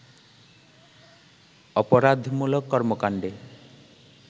অপরাধমূলক কর্মকাণ্ডে